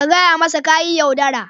Ka gaya masa ka yi yaudara.